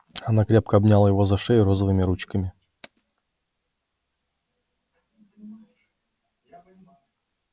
она крепко обняла его за шею розовыми ручками